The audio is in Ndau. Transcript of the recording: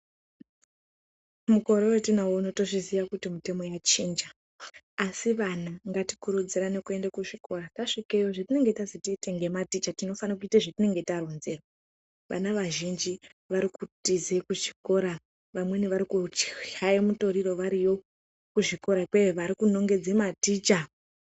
Mukore wetinawo uno tinozviziya kuti mutemo yachinja asi vana ngatikurudzirane kuende kuzvikora tasvikeyo zvatinenge tazi tiite ngematicha tinofane kuite zvetinenge taronzerwa vana vazhinji vari kutize kuchikora vamweni vari kuchaye mutoriro variyo kuzvikora ikweyo vari kunongedze maticha.